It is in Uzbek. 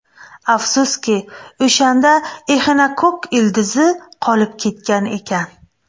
Afsuski, o‘shanda exinokokk ildizi qolib ketgan ekan.